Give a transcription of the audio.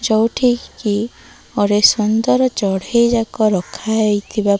ଯାଉଟିକି ଅରେ ସୁନ୍ଦର ଚଢ଼େଇ ଯାକ ରଖା ହେଇ ଥିବା --